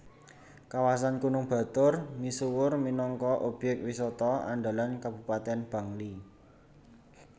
Kawasan Gunung Batur misuwur minangka obyek wisata andalan Kabupatèn Bangli